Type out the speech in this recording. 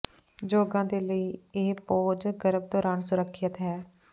ਯੋਗਾ ਦੇ ਲਈ ਇਹ ਪੋਜ ਗਰਭ ਦੌਰਾਨ ਸੁਰੱਖਿਅਤ ਹੈ